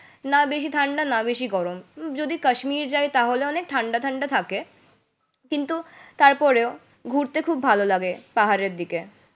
না বেশি ঠান্ডা না বেশি গরম। যদি কাশ্মীর যাই তাহলে অনেক ঠান্ডা ঠান্ডা থাকে কিন্তু তারপরেও ঘুরতে খুব ভালো লাগে পাহাড়ের দিকে।